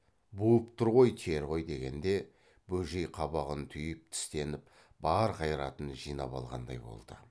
буып тұр ғой тер ғой дегенде бөжей қабағын түйіп тістеніп бар қайратын жинап алғандай болды